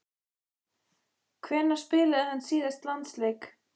Hvenær spilaði hann síðast landsleik?